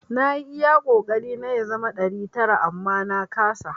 Na yi iya kokari na ya zama ɗari tara amma na kasa.